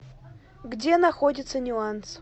где находится нюанс